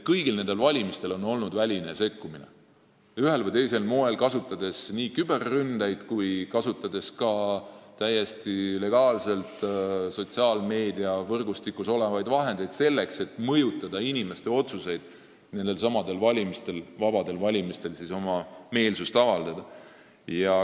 Kõigil nendel valimistel on toimunud väline sekkumine ühel või teisel moel: on kasutatud nii küberründeid kui ka täiesti legaalselt sotsiaalmeediavõrgustikus olevaid vahendeid, selleks et mõjutada inimeste otsuseid nendelsamadel vabadel valimistel oma meelsuse avaldamisel.